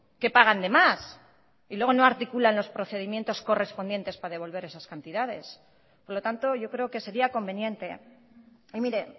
que pagan de más y luego no articulan los procedimientos correspondientes para devolver esas cantidades por lo tanto yo creo que sería conveniente y mire